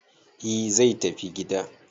e zai tafi gida